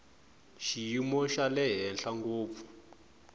xiyimo xa le henhla ngopfu